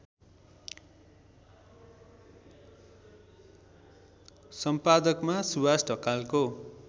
सम्पादकमा सुवास ढकालको